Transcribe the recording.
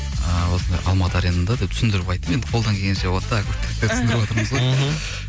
ыыы осындай алматы аренада деп түсіндіріп айттым енді қолдан келгенше вот так түсіндіріп отырмыз ғой мхм